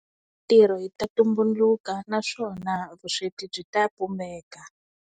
Mintirho yi ta tumbuluka naswona vusweti byi ta pfumaleka.